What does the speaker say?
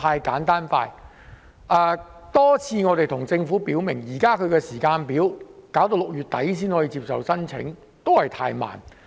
我們多次向政府表明，現時的時間表是要到6月底才接受申請，確實過於緩慢。